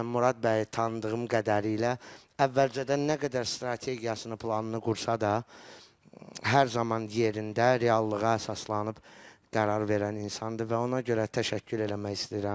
Mən Murad bəyi tanıdığım qədəri ilə əvvəlcədən nə qədər strategiyasını, planını qursa da, hər zaman yerində, reallığa əsaslanıb qərar verən insandır və ona görə təşəkkür eləmək istəyirəm.